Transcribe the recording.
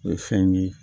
O ye fɛn ye